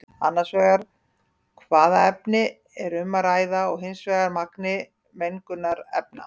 Annars vegar hvaða efni er um að ræða og hins vegar magni mengunarefna.